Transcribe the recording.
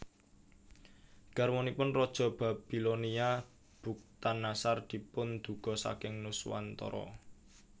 Garwanipun raja Babilonia Bukhtannasar dipunduga saking Nuswantara